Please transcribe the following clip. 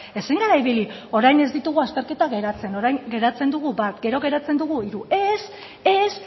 ezin gara ibili orain ez ditugu azterketak geratzen orain geratzen dugu bat gero geratzen dugu hiru ez ez